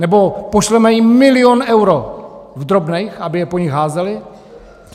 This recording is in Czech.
Nebo pošleme jim milion eur v drobných, aby je po nich házeli?